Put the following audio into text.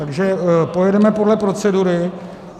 Takže pojedeme podle procedury.